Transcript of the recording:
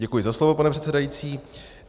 Děkuji za slovo, pane předsedající.